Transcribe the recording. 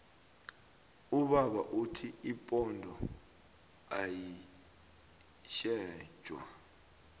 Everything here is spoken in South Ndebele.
ubaba uthi ipondo ayitjentjwa